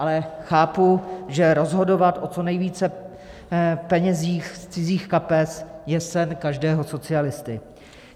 Ale chápu, že rozhodovat o co nejvíce penězích z cizích kapes je sen každého socialisty.